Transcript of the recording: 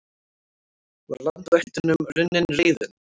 Var landvættunum runnin reiðin?